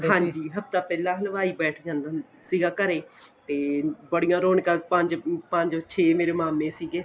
ਹਾਂਜੀ ਹਫ਼ਤਾ ਪਹਿਲਾਂ ਹਲਵਾਈ ਬੈਠ ਜਾਂਦਾ ਹੁੰਦਾ ਸੀ ਘਰੇ ਤੇ ਬੜੀਆਂ ਰੋਣਕਾਂ ਪੰਜ ਛੇ ਮੇਰੇ ਮਾਮੇਂ ਸੀਗੇ